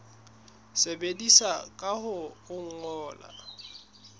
tsebisa ka ho o ngolla